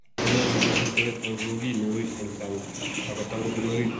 konyolu iboisien teret anan ko kiy ne uui en sang ak ko tangus en orit